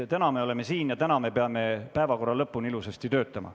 Täna me oleme siin ja peame siin päevakorra lõpuni ilusasti töötama.